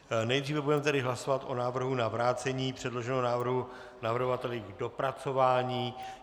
Nejdříve budeme tedy hlasovat o návrhu na vrácení předloženého návrhu navrhovateli k dopracování.